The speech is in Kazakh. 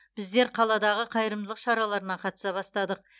біздер қаладағы қайырымдылық шараларына қатыса бастадық